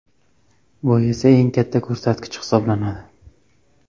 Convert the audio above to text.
Bu esa eng katta ko‘rsatkich hisoblanadi.